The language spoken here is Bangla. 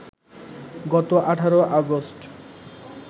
গত ১৮ অগাস্ট